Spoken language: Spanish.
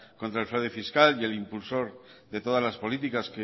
contra el fraude fiscal y el impulsor de todas las políticas